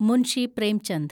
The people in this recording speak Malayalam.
മുൻഷി പ്രേംചന്ദ്